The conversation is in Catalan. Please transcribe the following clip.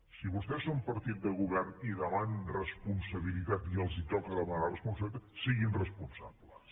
si vostès són partit de govern i demanen responsabilitat i els toca demanar responsabilitat siguin responsables